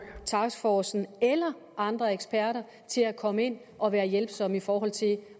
taskforcen eller andre eksperter til at komme og være hjælpsomme i forhold til